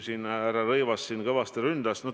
Härra Rõivas siin kõvasti ründas.